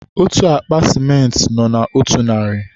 otú akpa sịmentị nọ na otu narị